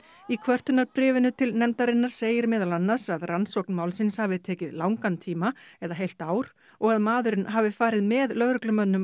í til nefndarinnar segir meðal annars að rannsókn málsins hafi tekið langan tíma eða heilt ár og að maðurinn hafi farið með lögreglumönnum